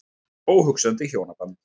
Óhugsandi í hjónabandi.